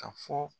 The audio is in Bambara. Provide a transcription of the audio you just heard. Ka fɔ